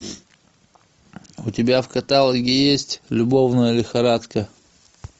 у тебя в каталоге есть любовная лихорадка